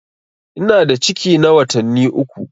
Ina da ciki na watanni uku.